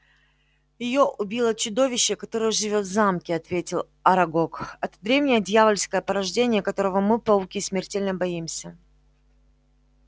её убило чудовище которое живёт в замке ответил арагог это древнее дьявольское порождение которого мы пауки смертельно боимся